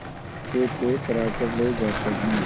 से पैक कराकर ले जाते हैं